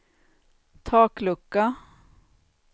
taklucka